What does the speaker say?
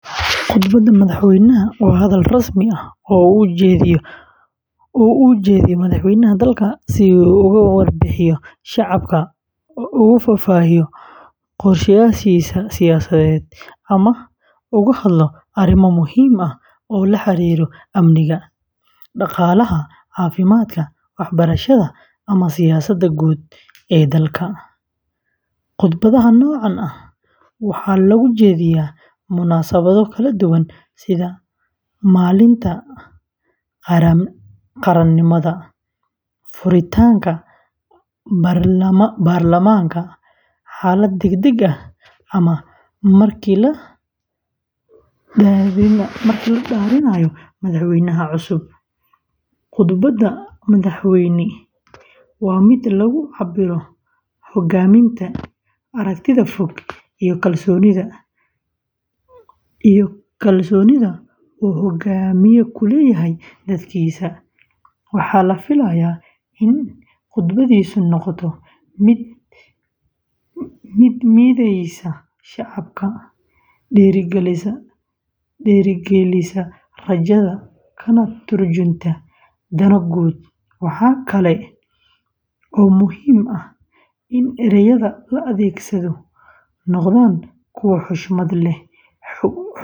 Khudbadda madaxweynaha waa hadal rasmi ah oo uu jeediyo madaxweynaha dalka si uu ugu warbixiyo shacabka, ugu faahfaahiyo qorshayaashiisa siyaasadeed, ama uga hadlo arrimo muhiim ah oo la xiriira amniga, dhaqaalaha, caafimaadka, waxbarashada, ama siyaasadda guud ee dalka. Khudbadaha noocan ah waxaa lagu jeediyaa munaasabado kala duwan sida maalinta qaranimada, furitaanka baarlamaanka, xaalad degdeg ah, ama markii la dhaarinayo madaxweynaha cusub. Khudbadda madaxweyne waa mid lagu cabbiro hogaaminta, aragtida fog, iyo kalsoonida uu hogaamiye ku leeyahay dadkiisa. Waxaa la filayaa in khudbadiisu noqoto mid mideysa shacabka, dhiirrigelisa rajada, kana tarjunta dano guud. Waxaa kale oo muhiim ah in ereyada la adeegsado noqdaan kuwa xushmad leh, xog ogaalnimo leh.